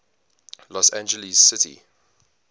los angeles city